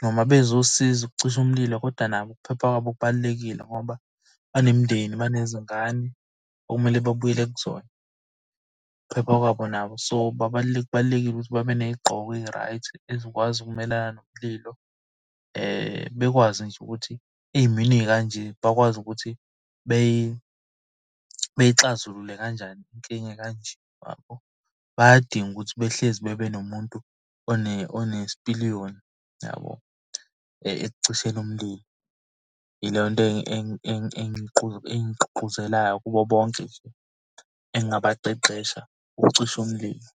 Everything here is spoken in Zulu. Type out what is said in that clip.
noma bezosiza ukucisha umlilo koda nabo ukuphepha kwabo kubalulekile, ngoba banemindeni babenezingane okumele babuyele kuzona. Ukuphepha kwabo nabo so kubalulekile ukuthi babe ney'gqoko eyi-right ezikwazi ukumelana nomlilo. Bekwazi nje ukuthi ey'meni ey'kanje bakwazi ukuthi bey'xazulule kanjani inkinga ekanje yabo. Bayadinga ukuthi behlezi bebe nomuntu onesipiliyoni yabo, ekucisheni umlilo. Ileyo nto engigqungquzelayo kubo bonke nje engingabaqeqesha ukucisha umlilo.